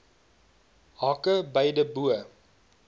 hake beide bo